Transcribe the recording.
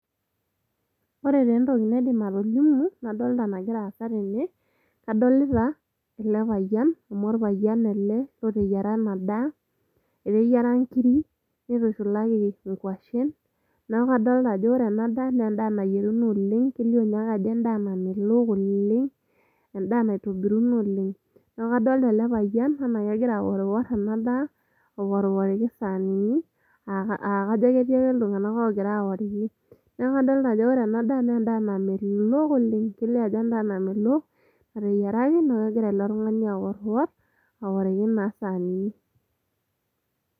ore taa entoki naidim atolimu nadolta nagira aasa tene kadolita ele payian amu orpayian ele loteyiara ena daa eteyiara nkiri nitushulaki inkuashen naaku kadolta ajo ore enaa daa naa endaa nayieruno oleng kelio ninye ake ajo endaa namelok oleng endaa naitobiruno oleng neeku kadolta ele payian anaa kegira aworiwor ena daa aworiworiki isanini akajo ketii ake iltung'anak ogira aworiki neeku kadolta ajo wore ena daa namelok oleng kelio ajo endaa namelok natayieraki niaku kegira ilo tung'ani aworwor aworiki naa isanini.